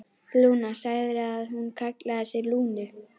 Lúna, sagðirðu að hún kallaði sig Lúnu?